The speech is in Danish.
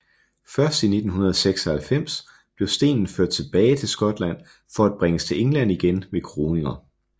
Først i 1996 blev stenen ført tilbage til Skotland for at bringes til England igen ved kroninger